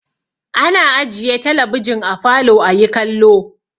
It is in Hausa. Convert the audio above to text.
Ana ajiye talabijin a falo ayi kallo.